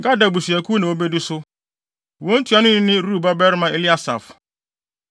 Gad abusuakuw na wobedi so. Wɔn ntuanoni ne Reuel babarima Eliasaf.